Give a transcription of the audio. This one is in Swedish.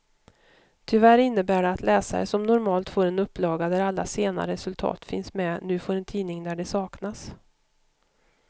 Tyvärr innebär det att läsare som normalt får en upplaga där alla sena resultat finns med, nu får en tidning där de saknas.